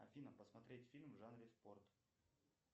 афина посмотреть фильм в жанре спорт